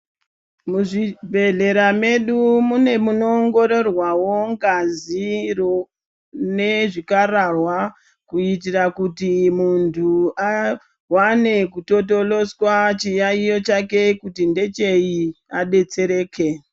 Muzvibhehlera medu mune munoongororwawo ngaziro nezvikararwa kuitira kuti muntu awane kutotoloswa chiyayo chake kuti ndechei adetsereke .